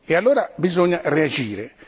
Allora bisogna reagire.